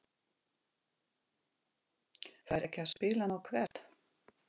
Fær ekki að spila nóg Hvert?